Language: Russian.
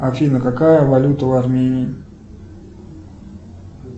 афина какая валюта в армении